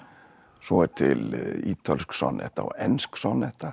svo er til ítölsk sonnetta og ensk